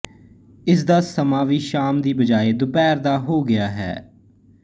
ਇਸ ਦਾ ਸਮਾਂ ਵੀ ਸ਼ਾਮ ਦੀ ਬਜਾਏ ਦੁਪਿਹਰ ਦਾ ਹੋ ਗਿਆ ਹੈ